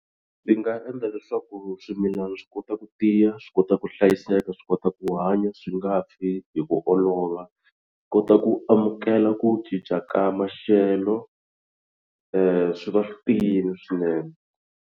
Ndzi nga endla leswaku swimilana swi kota ku tiya swi kota ku hlayiseka swi kota ku hanya swi nga fi hi ku olova swi kota ku amukela ku cinca ka maxelo swi va swi tiyile swinene.